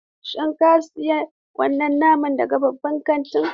Shin ka sayi wannan naman daga babban kantin?